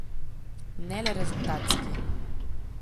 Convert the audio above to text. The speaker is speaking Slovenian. Ne le rezultatski.